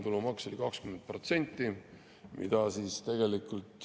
Tulumaks oli 20%.